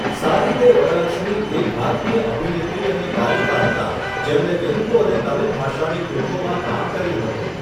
સારિદે વરલક્ષ્મી એક ભારતીય અભિનેત્રી અને ગાયિકા હતાં, જેમણે તેલુગુ અને તમિલ ભાષાની ફિલ્મોમાં કામ કર્યું હતું.